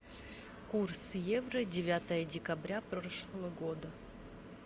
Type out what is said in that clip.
курс евро девятое декабря прошлого года